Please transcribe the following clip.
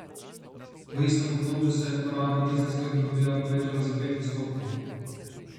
V istem obdobju se je poraba dizelskega goriva povečala za pet odstotkov.